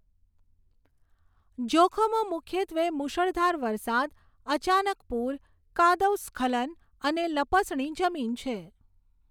જોખમો મુખ્યત્વે મૂશળધાર વરસાદ, અચાનક પૂર, કાદવ સ્ખલન અને લપસણી જમીન છે.